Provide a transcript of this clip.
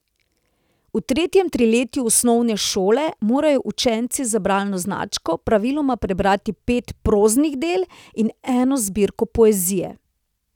V tretjem triletju osnovne šole morajo učenci za bralno značko praviloma prebrati pet proznih del in eno zbirko poezije.